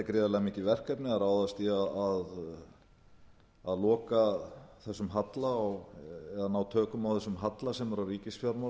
gríðarlega mikið verkefni að ráðast í að loka þessum halla eða að ná tökum á þessum halla sem er á ríkisfjármálum